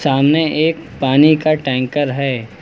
सामने एक पानी का टैंकर है।